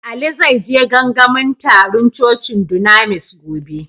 Ali zai je gangamin tarun cocin dunamis gobe.